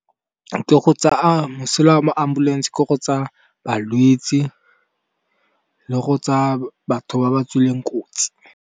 Ke go tsaya, mosola wa ambulense ke go tsa balwetsi le go tsaya batho ba ba tswileng kotsi.